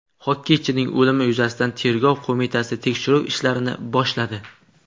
Xokkeychining o‘limi yuzasidan Tergov qo‘mitasi tekshiruv ishlarini boshladi.